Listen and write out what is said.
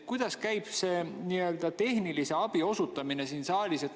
Kuidas käib tehnilise abi osutamine siin saalis?